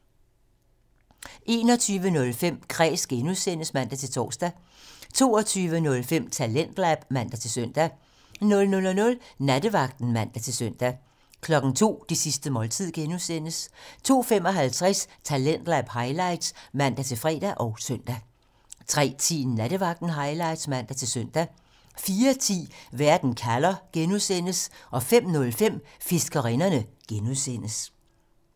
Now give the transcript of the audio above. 21:05: Kræs (G) (man-tor) 22:05: Talentlab (man-søn) 00:00: Nattevagten (man-søn) 02:00: Det sidste måltid (G) 02:55: Talentlab highlights (man-fre og søn) 03:10: Nattevagten Highlights (man-søn) 04:10: Verden kalder (G) 05:05: Fiskerinderne (G)